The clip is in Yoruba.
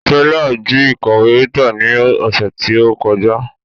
Stella ji ikọwe Rita ni ose ti o koja